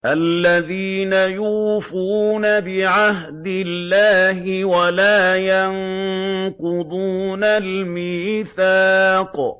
الَّذِينَ يُوفُونَ بِعَهْدِ اللَّهِ وَلَا يَنقُضُونَ الْمِيثَاقَ